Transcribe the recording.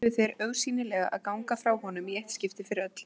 Nú ætluðu þeir augsýnilega að ganga frá honum í eitt skipti fyrir öll.